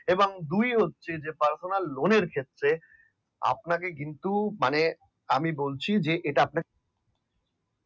এবং দুই হচ্ছে যে বর্তমান লোন এর ক্ষেত্রে আপনাকে কিন্তু মানে এটা বলছি যে